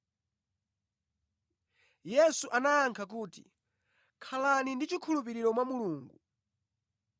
Yesu anayankha kuti, “Khalani ndi chikhulupiriro mwa Mulungu.